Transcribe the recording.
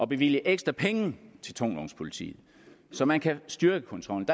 bevilge ekstra penge til tungvognspolitiet så man kan styrke kontrollen